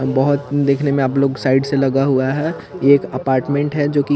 बहोत देखने में आप लोग साइड से लगा हुआ है एक अपार्टमेंट है जो की--